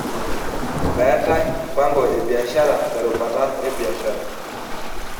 Meetae mpango e biashara terubata ebiashara.